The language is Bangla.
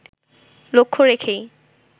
লক্ষ্য রেখেই